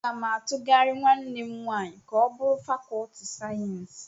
Aga m atughari nwanne m nwanyị ka o bụrụ fàkọọtị sayensị.